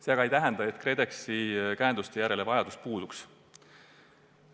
See aga ei tähenda, et KredExi käenduste järele vajadus puuduks.